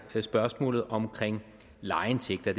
spørgsmålet om lejeindtægter